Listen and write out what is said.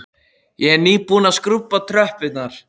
Ég er nýbúin að skrúbba tröppurnar.